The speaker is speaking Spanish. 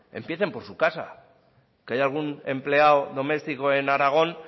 empiecen por su casa que hay algún empleado doméstico en aragón